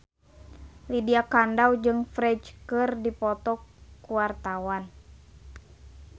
Lydia Kandou jeung Ferdge keur dipoto ku wartawan